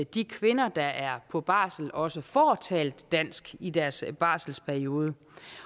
de kvinder der er på barsel også får talt dansk i deres barselsperiode